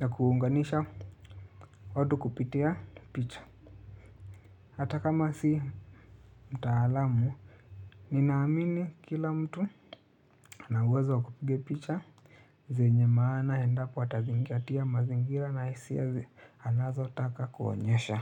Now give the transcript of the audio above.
na kuunganisha watu kupitia picha hata kama si mtaalamu ninaamini kila mtu ana uwezo wa kupiga picha zenye maana endapo atazingatia mazingira na hisia anazotaka kuonyesha.